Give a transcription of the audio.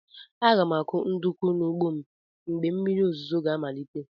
Aga m akụ ndụkụ n'ugbo m mgbe oge mmiri ozuzo ga amalite.